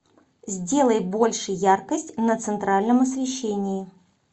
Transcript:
сделай больше яркость на центральном освещении